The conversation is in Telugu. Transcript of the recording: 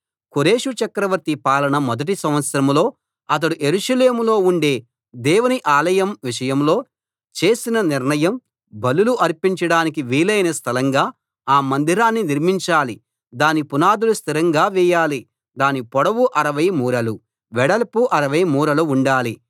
కోరెషు చక్రవర్తి పాలన మొదటి సంవత్సరంలో అతడు యెరూషలేములో ఉండే దేవుని ఆలయం విషయంలో చేసిన నిర్ణయం బలులు అర్పించడానికి వీలైన స్థలంగా ఆ మందిరాన్ని నిర్మించాలి దాని పునాదులు స్థిరంగా వేయాలి దాని పొడవు 60 మూరలు వెడల్పు 60 మూరలు ఉండాలి